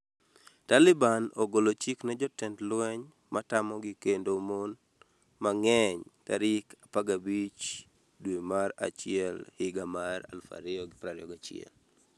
Taliban ogolo chik ne jotend lweny matamogi kendo mon mang'eny tarik 15 dwe mar achiel higa mar 2021